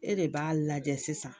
E de b'a lajɛ sisan